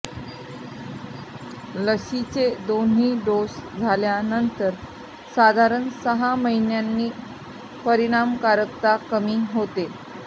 लशीचे दोन्ही डोस झाल्यानंतर साधारण सहा महिन्यांनी परिणामकारकता कमी होते